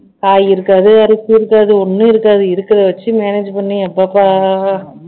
காய் இருக்காது அரிசி இருக்காது ஒண்ணும் இருக்காது இருக்கிறதை வச்சு manage பண்ணி எப்பப்பா